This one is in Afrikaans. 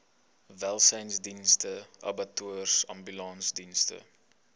welsynsdienste abattoirs ambulansdienste